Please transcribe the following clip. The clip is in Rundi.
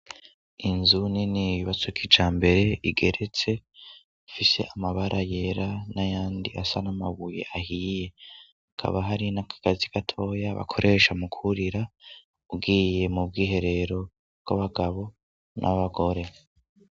Inzu nini yubatse kija mbere igeretse ifise amabara yera n'ayandi asa n'amabuye ahiye hakaba hari nakagazi gatoya bakoresha mu kurira ugiye mu bwiherero bw'abagabo n'abagore.